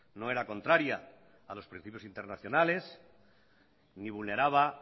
no era contraria a los principios internacionales ni vulneraba